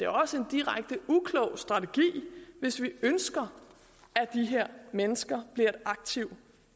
også en direkte uklog strategi hvis vi ønsker at de her mennesker bliver et aktiv